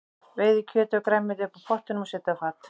Veiðið kjötið og grænmetið upp úr pottinum og setjið á fat.